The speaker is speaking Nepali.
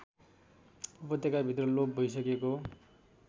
उपत्यकाभित्र लोप भइसकेको